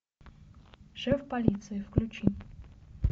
шеф полиции включи